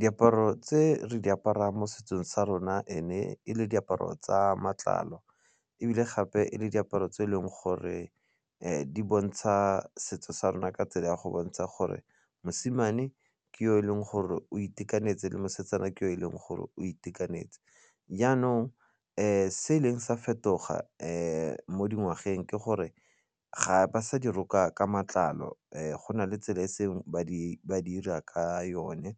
Diaparo tse re di aparang mo setsong sa rona e ne e le diaparo tsa matlalo ebile gape e le diaparo tse e leng gore di bontsha setso sa rona ka tsela ya go bontsha gore mosimane ke yo e leng gore o itekanetse le mosetsana ke o e leng gore o itekanetse. Jaanong se ileng sa fetoga mo dingwageng ke gore ga ba sa di roka ka matlalo go na le tsela e e seng ba di 'ira ka yone,